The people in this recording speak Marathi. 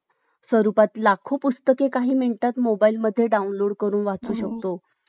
fourg जो sim आहे आता तर तेलात fiveg तुम्हाला पाहिजे fourg ला fiveg मध्ये convert करू शकता तोच number राहील तुमचा आलं का लक्षात